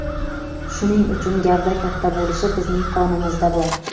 Shuning uchun gavda katta bo‘lishi bizning qonimizda bor.